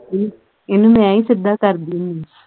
ਇਹਨੂੰ ਇਹਨੂੰ ਮੈਂ ਹੀਂ ਸਿੱਧਾ ਕਰਦੀ ਆਂ